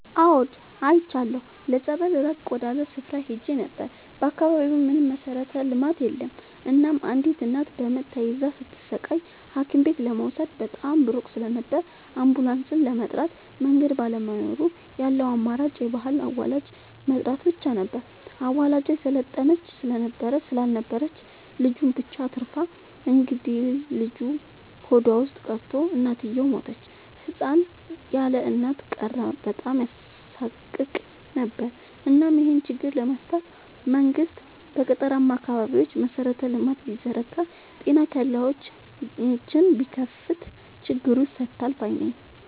አዎድ አይቻለሁ ለፀበል ራቅ ወዳለ ስፍራ ሄጄ ነበር። በአካባቢው ምንም መሠረተ ልማት የለም እናም አንዲት እናት በምጥ ተይዛ ስትሰቃይ ሀኪምቤት ለመውሰድ በጣም ሩቅ ስለነበር አንቡላስም ለመጥራት መንገድ ባለመኖሩ ያለው አማራጭ የባህል አዋላጅ መጥራት ብቻ ነበር። አዋላጇ የሰለጠነች ስላልነበረች ልጁን ብቻ አትርፋ እንግዴልጁ ሆዷ ውስጥ ቀርቶ እናትየው ሞተች ህፃን ያለእናት ቀረ በጣም ያሳቅቅ ነበር እናም ይሄን ችግር ለመፍታት መንግስት በገጠራማ አካባቢዎች መሰረተ ልማት ቢዘረጋ ጤና ኬላዎችን ቢከፋት ችግሩ ይፈታል ባይነኝ።